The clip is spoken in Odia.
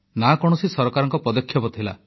ନା କୌଣସି ସରକାରଙ୍କ ପଦକ୍ଷେପ ଥିଲା